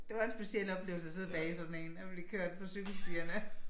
Det var en speciel oplevelse at sidde bag i sådan en og blive kørt på cykelstierne